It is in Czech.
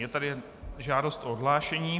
Je tady žádost o odhlášení.